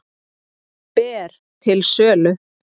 Ber til sölu